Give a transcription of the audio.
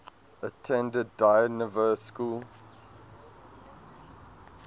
attended dynevor school